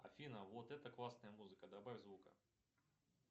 афина вот это классная музыка добавь звука